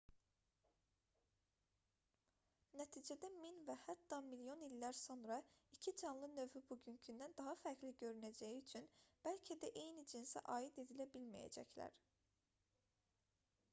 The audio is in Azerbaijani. nəticədə min və hətta milyon illər sonra 2 canlı növü bugünkündən daha fərqli görünəcəyi üçün bəlkə də eyni cinsə aid edilə bilməyəcəklər